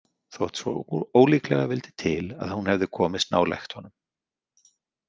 Þótt svo ólíklega vildi til að hún hefði komist nálægt honum.